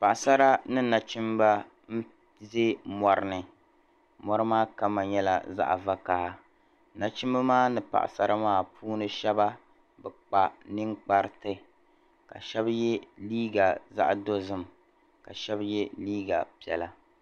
Paɣasara ni nachimba n-ʒe mɔri ni mɔri maa kama nyɛla zaɣ'vakaha nachimba maa ni paɣasara maa be kpa ninkpariti ka shɛba ye liiga zaɣ'dozim ka shɛba ye liiga piɛla.